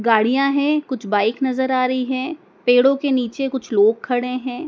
गाड़ियाँ है कुछ बाइक नज़र आ रही हैं पेड़ों के नीचे कुछ लोग खड़े हैं। '